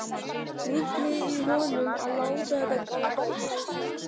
Ruglið í honum að láta þetta ganga yfir sig.